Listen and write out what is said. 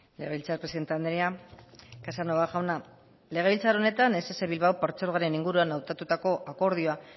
legebiltzar presidente andrea casanova jauna legebiltzar honetan ess bilbao partzuergoaren inguruan hautatutako akordioa